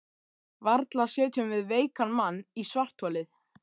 Varla setjum við veikan mann í svartholið?